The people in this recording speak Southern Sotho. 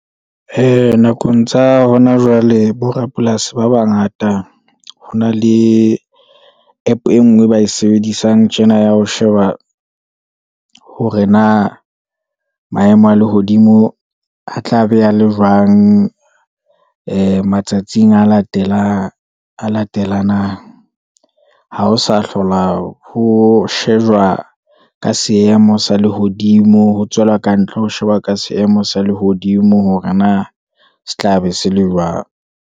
Ee, Nakong tsa hona jwale bo rapolasi ba bangata, ho na le app e ngwe e ba e sebedisang tjena, ya ho sheba hore na maemo a lehodimo a tla be a le jwang, ee matsatsing a latelanang, ha ho sa hlola ho shejwa ka seemo sa lehodimo, ho tswela kantle ho sheba ka seemo sa lehodimo, hore na se tla be se le jwang.